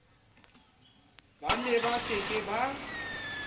ba neba ke ke ba